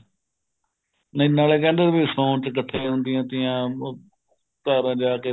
ਨਹੀਂ ਨਾਲੇ ਕਹਿੰਦੇ ਵੀ ਸੋਣ ਵਿੱਚ ਇੱਕਠੀਆ ਹੁੰਦੀਆਂ ਤੀਆਂ